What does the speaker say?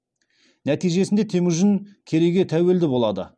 нәтижесінде темүжін керейге тәуелді болады